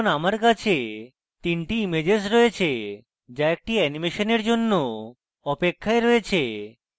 এখন আমার কাছে তিনটি ইমেজেস রয়েছে যা একটি অ্যানিমেশনের জন্য অপেক্ষায় রয়েছে